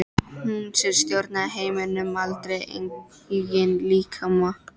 Hún sem stjórnaði heiminum en aldrei eigin líkama.